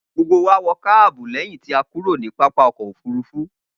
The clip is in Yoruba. Gbogbo wa wọ káàbù lẹ́yìn tí a kúrò ní pápá ọkọ̀-òfurufú.